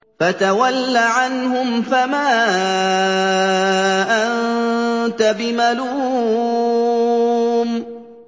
فَتَوَلَّ عَنْهُمْ فَمَا أَنتَ بِمَلُومٍ